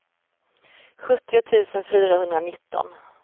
sjuttio tusen fyrahundranitton